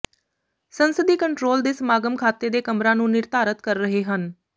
ਸੰਸਦੀ ਕੰਟਰੋਲ ਦੇ ਸਮਾਗਮ ਖਾਤੇ ਦੇ ਕਮਰਾ ਨੂੰ ਨਿਰਧਾਰਤ ਕਰ ਰਹੇ ਹਨ